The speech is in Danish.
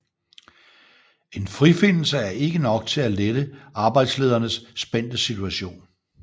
En frifindelse er ikke nok til at lette arbejdslederens spændte situation